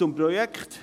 Dies zum Projekt.